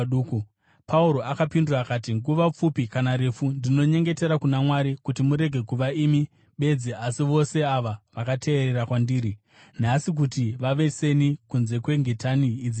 Pauro akapindura akati, “Nguva pfupi kana refu, ndinonyengetera kuna Mwari kuti murege kuva imi bedzi asi vose ava vakateerera kwandiri nhasi kuti vave seni, kunze kwengetani idzi chete.”